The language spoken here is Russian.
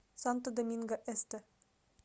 санто доминго эсте